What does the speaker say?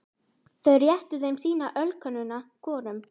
Þau réttu þeim sína ölkönnuna hvorum.